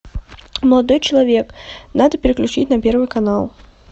молодой человек надо переключить на первый канал